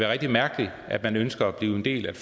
rigtig mærkeligt at man ønsker at blive en del af